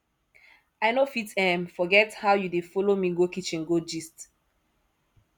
i no fit um forget how you dey folo me go kitchen go gist